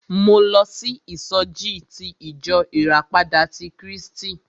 Mo lọ sí ìsọjí ti ìjọ ìràpadà ti Krístì.